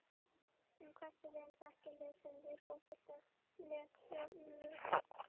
En hversu vel þekkja lesendur Fótbolta.net stjórana?